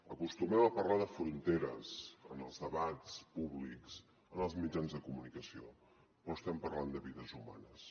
acostumem a parlar de fronteres en els debats públics en els mitjans de comunicació però estem parlant de vides humanes